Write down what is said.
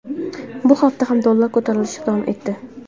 Bu hafta ham dollar ko‘tarilishi davom etdi.